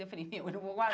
Eu falei, eu não vou guar